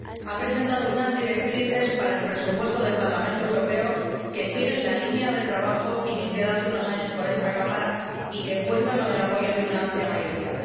Ha presentado unas orientaciones para el presupuesto del Parlamento Europeo que siguen la línea de trabajo iniciada hace unos años por esta Cámara y que cuentan con el apoyo de una amplia mayoría.